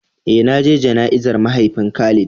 Eh na je jana'izar mahaifin Khalid.